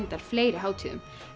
fleiri hátíðum